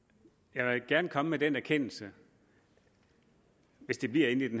jeg vil gerne komme med den erkendelse hvis det bliver inden